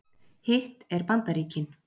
Hitt er Bandaríkin.